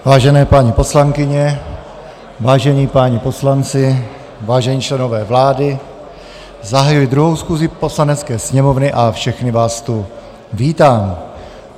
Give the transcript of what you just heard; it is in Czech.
Vážené paní poslankyně, vážení páni poslanci, vážení členové vlády, zahajuji druhou schůzi Poslanecké sněmovny a všechny vás tu vítám.